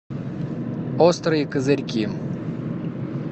острые козырьки